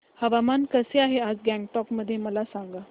हवामान कसे आहे आज गंगटोक मध्ये मला सांगा